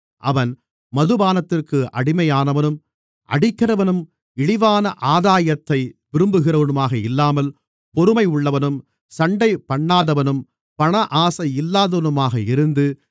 அவன் மதுபானத்திற்கு அடிமையானவனும் அடிக்கிறவனும் இழிவான ஆதாயத்தை விரும்புகிறவனுமாக இல்லாமல் பொறுமை உள்ளவனும் சண்டைபண்ணாதவனும் பணஆசை இல்லாதவனுமாக இருந்து